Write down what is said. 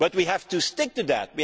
But we have to stick to that.